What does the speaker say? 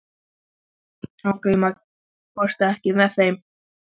Arngrímur, ekki fórstu með þeim?